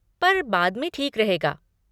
पर बाद में ठीक रहेगा।